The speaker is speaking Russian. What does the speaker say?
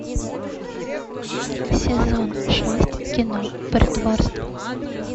сезон шесть кино притворство